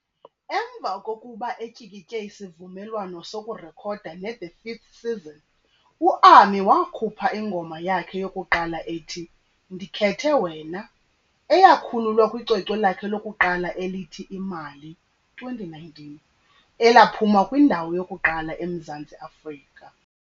Emva kokuba etyikitye isivumelwano sokurekhoda neThe Vth Season, u-Ami wakhupha ingoma yakhe yokuqala ethi, "Ndikhethe Wena", eyakhululwa kwicwecwe lakhe lokuqala elithi Imali, 2019, elaphuma kwindawo yokuqala eMzantsi Afrika.